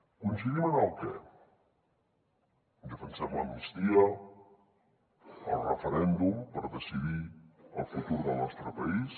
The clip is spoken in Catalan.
coincidim en el què defensem l’amnistia el referèndum per decidir el futur del nostre país